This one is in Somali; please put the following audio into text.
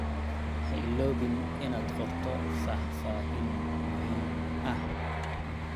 Ha iloobin inaad qorto faahfaahin muhiim ah.